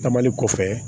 Taamali kɔfɛ